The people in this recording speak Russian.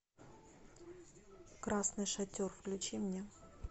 красный шатер включи мне